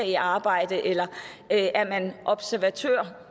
i arbejdet eller er man observatør